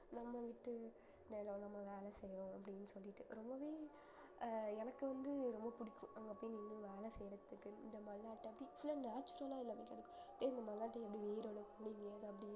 நம்ம வீட்டு வேலை நம்ம வேலை செய்யறோம் அப்படினு சொல்லிட்டு அஹ் எனக்கு வந்து ரொம்ப புடிக்கும் அங்க போயி இன்னும் வேலை செய்யறதுக்கு இங்க natural அ இல்ல